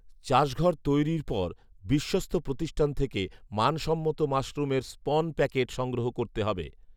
চাষঘর তৈরির পর বিশ্বস্ত প্রতিষ্ঠান থেকে মানসম্মত মাশরুমের স্পন প্যাকেট সংগ্রহ করতে হবে